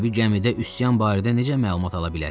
Hərbi gəmidə üsyan barədə necə məlumat ala bilərlər?